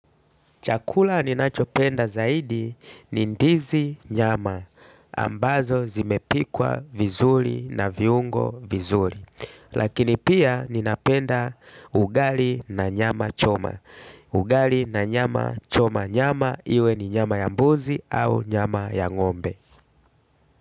Chakula ninachopenda zaidi ni ndizi, nyama, ambazo zimepikwa vizuri na viungo vizuri. Lakini pia ninapenda ugali na nyama choma. Ugali na nyama choma, nyama iwe ni nyama ya mbuzi au nyama ya ng'ombe.